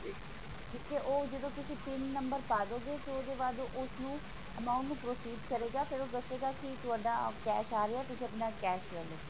ਠੀਕ ਹੈ ਉਹ ਜਦੋਂ ਤੁਸੀਂ pin ਨੰਬਰ ਪਾ ਦੋਗੇ ਤੇ ਉਹਤੋ ਬਾਅਦ ਉਸਨੂੰ amount ਨੂੰ proceed ਕਰੇਗਾ ਤੇ ਫੇਰ ਉਹ ਦੱਸੇਗਾ ਕਿ ਤੁਹਾਡਾ cash ਆ ਰਿਹਾ ਤੁਸੀਂ ਆਪਣਾ cash ਲੈ ਲੋ